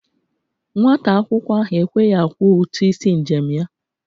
Nwata akwụkwọ ahụ ekweghi akwọ ụtụ isi njem ya.